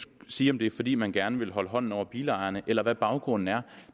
sige om det er fordi man gerne vil holde hånden over bilejerne eller hvad baggrunden er